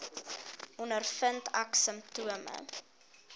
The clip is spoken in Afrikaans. ondervind ek simptome